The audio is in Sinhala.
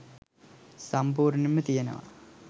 සම්පූර්ණයෙන්ම තියනවා